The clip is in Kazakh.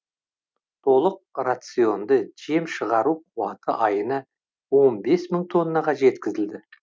толық рационды жем шығару қуаты айына он бес мың тоннаға жеткізілді